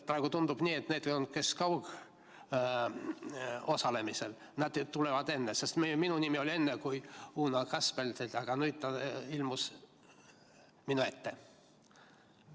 Praegu tundub nii, et need, kes kaugosalevad, tulevad enne, sest algul oli minu nimi eespool kui Uno Kaskpeit, aga nüüd ilmus ta minu ette.